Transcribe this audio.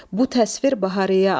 Bu təsvir Bahariyə adlanır.